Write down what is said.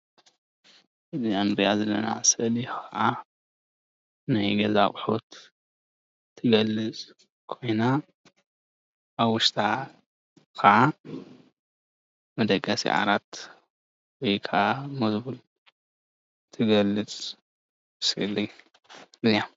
እዚ እንርኣ ዘለና ስእሊ ከዓ ናይ ገዛ ኣቁሑት ትገልፅ ኮይና ኣብ ውሽጣ ከዓ መደቂሲ ዓራት ወይ ከዓ መዝቡል እትገልፅ ስእሊ እያ፡፡